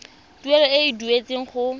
tuelo e e duetsweng go